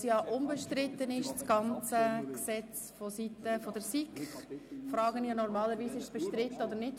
Da das ganze Gesetz vonseiten der SiK unbestritten ist, frage ich normalerweise, ob das Gesetz bestritten ist oder nicht.